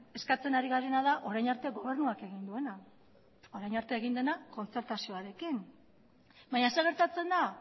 eskatzen ari garena da orain arte gobernuak egin duena orain arte egin dena kontzertazioarekin baina zer gertatzen da